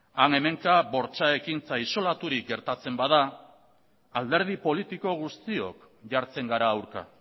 han hemenka bortxa ekintza isolaturik gertatzen bada alderdi politiko guztiok jartzen gara aurka